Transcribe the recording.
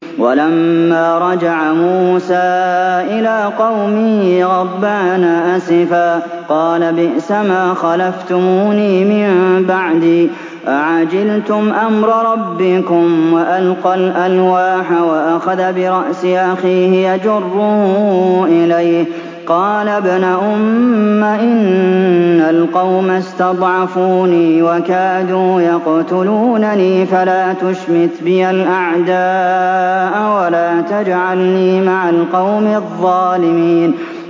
وَلَمَّا رَجَعَ مُوسَىٰ إِلَىٰ قَوْمِهِ غَضْبَانَ أَسِفًا قَالَ بِئْسَمَا خَلَفْتُمُونِي مِن بَعْدِي ۖ أَعَجِلْتُمْ أَمْرَ رَبِّكُمْ ۖ وَأَلْقَى الْأَلْوَاحَ وَأَخَذَ بِرَأْسِ أَخِيهِ يَجُرُّهُ إِلَيْهِ ۚ قَالَ ابْنَ أُمَّ إِنَّ الْقَوْمَ اسْتَضْعَفُونِي وَكَادُوا يَقْتُلُونَنِي فَلَا تُشْمِتْ بِيَ الْأَعْدَاءَ وَلَا تَجْعَلْنِي مَعَ الْقَوْمِ الظَّالِمِينَ